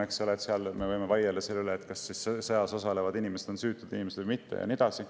Sõja puhul me võime vaielda selle üle, kas sõjas osalevad inimesed on süütud inimesed või mitte ja nii edasi.